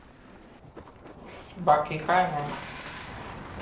बाकी काय नाय